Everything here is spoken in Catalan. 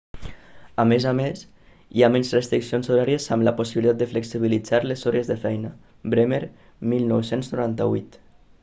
a més a més hi ha menys restriccions horàries amb la possibilitat de flexibilitzar les hores de feina. bremer 1998